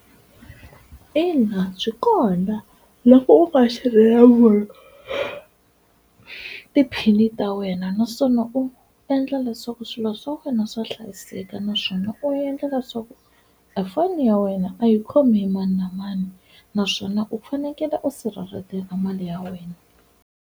Ina, byi kona na ku u ti-pin ta wena naswona u endla leswaku swilo swi swa wena swa hlayiseka naswona u endlela swa ku efoni ya wena a yi khomi hi mani na mani naswona u fanekele u sirheleleka mali ya wena.